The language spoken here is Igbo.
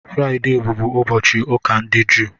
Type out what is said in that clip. Fraịde bụbụ ụbọchị ụka ndị Jụụ.